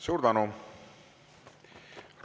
Suur tänu!